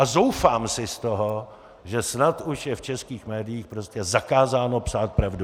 A zoufám si z toho, že snad už je v českých médiích prostě zakázáno psát pravdu.